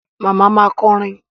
Màmá ma kọrin.